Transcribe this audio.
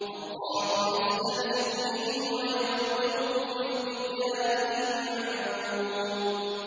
اللَّهُ يَسْتَهْزِئُ بِهِمْ وَيَمُدُّهُمْ فِي طُغْيَانِهِمْ يَعْمَهُونَ